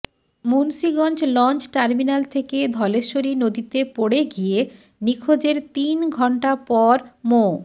Munshiganj launch terminal থেকে ধলেশ্বরী নদীতে পড়ে গিয়ে নিখোঁজের তিন ঘণ্টা পর মো